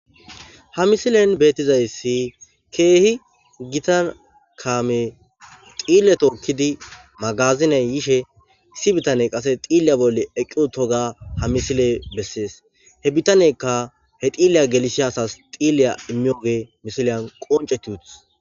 ha misilen beettizayssi keehi gita kaame xiille tookkidi magaziney yishe issi bitane qase xiiliya bolle eqqi utoga ha misiley bessees he bitanekka he xiiliya gelisiya asas xiilliya immiyoge misiliyan qonceti utis